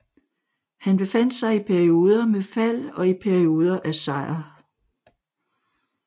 Han befandt sig i perioder med fald og i perioder af sejr